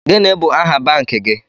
Gini bụ aha banki gi?